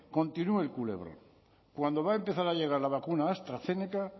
continúe el culebrón cuando va a empezar a llegar la vacuna astrazeneca